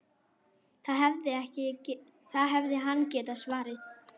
Það hefði hann getað svarið.